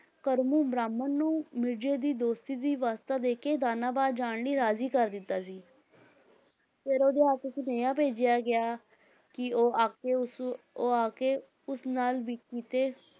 ਕਰਮੂ ਬ੍ਰਾਹਮਣ ਨੂੰ ਮਿਰਜ਼ੇ ਦੀ ਦੋਸਤੀ ਦੀ ਵਾਸਤਾ ਦੇ ਕੇ ਦਾਨਾਬਾਦ ਜਾਣ ਲਈ ਰਾਜੀ ਕਰ ਦਿੱਤਾ ਸੀ ਫਿਰ ਉਹਦੇ ਹੱਥ ਸੁਨੇਹਾ ਭੇਜਿਆ ਗਿਆ ਕਿ ਉਹ ਆਕੇ ਉਸ ਉਹ ਆ ਕੇ ਉਸ ਨਾਲ ਵੀ ਕੀਤੇ